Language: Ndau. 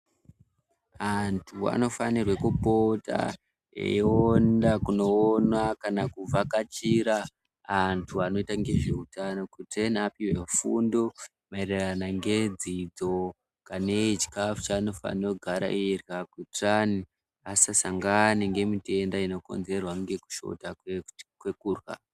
Antu anofanirwe kupota eienda kunoona kana kuvhakachira antu anoita ngezveutano kuti apuhwe fundo maererano ngedzidzo kaneichikafu chaanofanira kugara eirya kuitirani asasangane ngemutenda inokonzerwa ngekushota kwekurya.